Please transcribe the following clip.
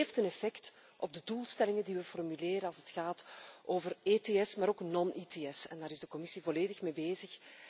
Dat heeft een effect op de doelstellingen die we formuleren als het gaat over ETS en ook over non ETS en daar is de Commissie volledig mee bezig.